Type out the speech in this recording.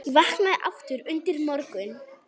Ég vaknaði aftur undir morgun.